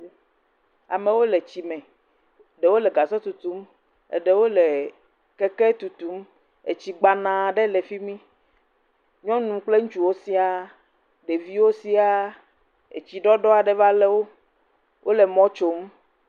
Amewo le tsime. Ɖewo le gasɔ tutum, eɖewo le keke tutum. Etsi gbanaa ɖe le fi mi. Nyɔnu kple ŋutsuwo siaa, ɖeviwo siaa. Etsiɖɔɖɔ aɖe va lé wo. Wole mɔ̃ tsom.